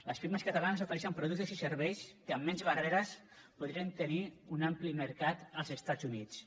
les pimes catalanes ofereixen productes i serveis que amb menys barreres podrien tenir un ampli mercat als estats units